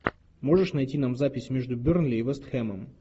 можешь найти нам запись между бернли и вест хэмом